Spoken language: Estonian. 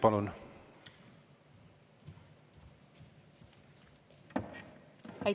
Palun!